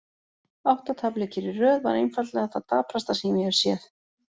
Átta tapleikir í röð var einfaldlega það daprasta sem ég hef séð.